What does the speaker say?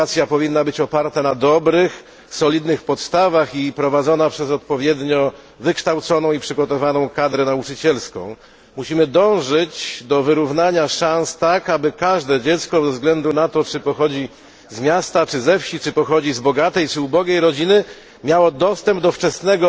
Edukacja powinna być oparta na dobrych, solidnych podstawach i prowadzona przez odpowiednio wykształconą i przygotowaną kadrę nauczycielską. Musimy dążyć do wyrównania szans tak, aby każde dziecko bez względu na to, czy pochodzi z miasta czy ze wsi, z bogatej czy ubogiej rodziny, miało dostęp do wczesnego